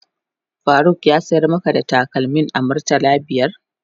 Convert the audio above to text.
Faruk ya sayar maka da takalmin a murtala biyar?